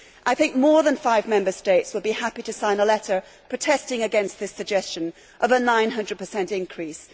I think more than five Member States will be happy to sign a letter protesting against this suggestion of a 900 increase.